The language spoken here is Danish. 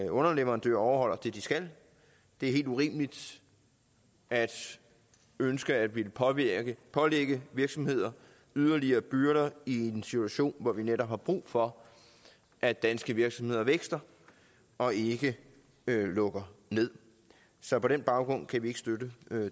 underleverandører overholder det de skal det er helt urimeligt at ønske at ville pålægge pålægge virksomheder yderligere byrder i en situation hvor vi netop har brug for at danske virksomheder vækster og ikke lukker nederst så på den baggrund kan vi ikke støtte